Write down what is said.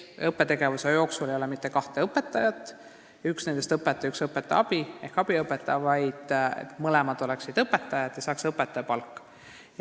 Õppetegevuse ajal ei ole rühmas üks õpetaja ja teine õpetaja abi ehk abiõpetaja – eesmärk on, et mõlemad oleksid õpetajad ja saaks ka õpetaja palka.